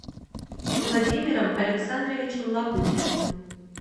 владимиром александровичем лагутиным